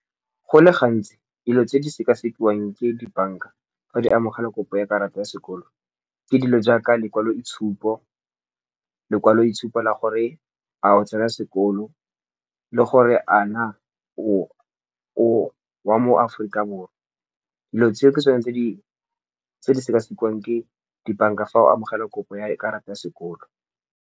Go le gantsi dilo tse di sekasekiwang ke dibanka fa di amogela kopo ya karata ya sekolo, ke dilo jaaka lekwaloitshuo, lekwaloitshupo la gore a o tsena sekolo le gore a na o wa mo aforika borwa. Dilo tseo ke tsone tse di sekasekiwang ke dibanka fa o amogela kopo ya karata ya sekoloto.